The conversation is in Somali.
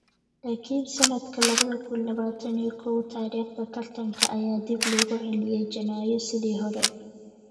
Laakiin sanadka labada kun labatan iyo kow, taariikhda tartanka ayaa dib loogu celiyay Janaayo sidii hore.